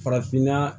Farafinna